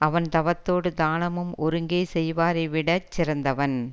அவன் தவத்தேடு தானமும் ஒருங்கே செய்வாரை விட சிறந்தவன்